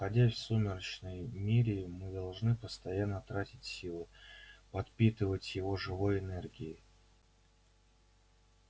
находясь в сумеречном мире мы должны постоянно тратить силы подпитывать его живой энергией